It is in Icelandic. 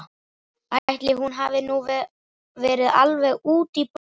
Ætli hún hafi nú verið alveg út í bláinn.